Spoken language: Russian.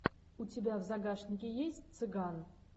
у тебя в загашнике есть цыган